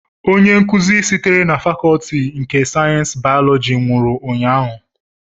Onye nkuzi sitere na Fakọọti nke sayensị bayọlọji nwụrụ ụnyahụ